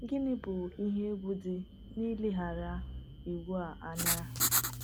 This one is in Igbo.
Gịnị bụ ihe egwu dị n’ileghara iwu a anya?